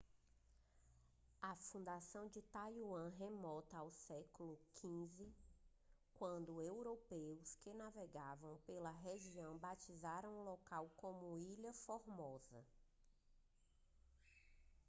a fundação de taiwan remonta ao século xv quando europeus que navegavam pela região batizaram o local como ilha formosa